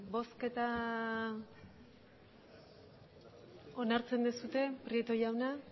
bozketa onartzen duzue prieto jauna